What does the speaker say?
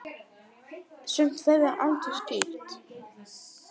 Sumt verður aldrei skýrt.